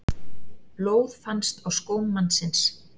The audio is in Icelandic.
Blóð fannst á skóm mannsins